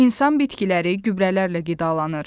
İnsan bitkiləri gübrələrlə qidalanır.